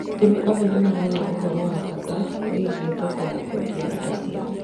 Arĩmi amwe nĩ maraga ũhoro wa bata wĩgiĩ thoko ya kũendia indo ciao